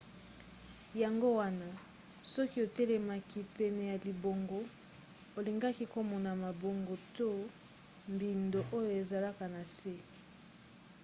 yango wana soki otelemaki pene ya libongo olingaki komona mabongo to mbindo oyo ezalaka na se